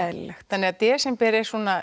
eðlilegt þannig að desember er svona